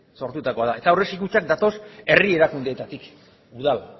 sortutakoa da eta aurrezki kutxak datoz herri erakundeetatik udal